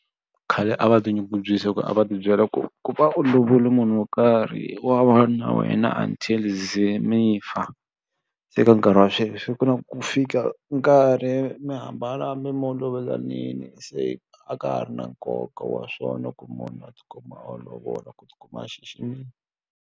Khale a va tinyungubyisi hi ku a va ti byela ku ku va u lovole munhu wo karhi wa va na wena until ze mi fa se ka nkarhi wa sweswi ku na ku fika nkarhi mi hambana hambi mo lovolanile se a ka ha ri na nkoka wa swona ku munhu a tikuma a lovola ku tikuma a xiximile.